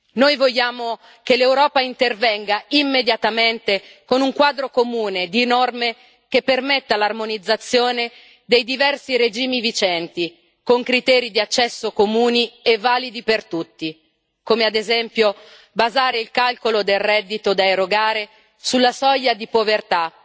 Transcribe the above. Noi vogliamo che l'Europa intervenga immediatamente con un quadro comune di norme che permetta l'armonizzazione dei diversi regimi vigenti con criteri di accesso comuni e validi per tutti come, ad esempio, basare il calcolo del reddito da erogare sulla soglia di povertà,